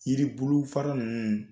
Yiribulu fara nunnu